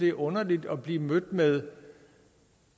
er underligt at blive mødt med